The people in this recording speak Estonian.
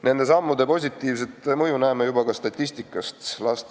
Nende sammude positiivset mõju näeme juba ka statistikast.